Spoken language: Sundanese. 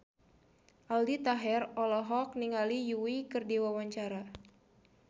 Aldi Taher olohok ningali Yui keur diwawancara